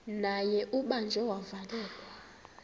naye ubanjiwe wavalelwa